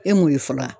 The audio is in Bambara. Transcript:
E mun ye fɔlɔ wa